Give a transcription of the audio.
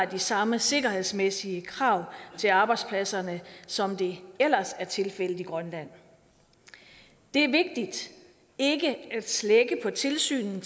de samme sikkerhedsmæssige krav til arbejdspladserne som det ellers er tilfældet i grønland det er vigtigt ikke at slække på tilsynet